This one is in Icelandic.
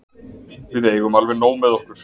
Við eigum alveg nóg með okkur.